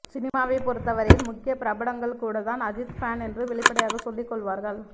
சினிமாவை பொருத்தவரையில் முக்கிய பிரபலங்கள் கூட தான் அஜித் ஃபேன் என்று வெளிப்படையாக சொல்லிக் கொள்ளுவார்கள்